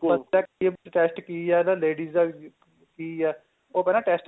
perfect test ਕੀ ਏ ਇਹ ਤਾਂ ladies ਦਾ ਵੀ ਕੀ ਏ ਉਹ ਪਹਿਲਾਂ test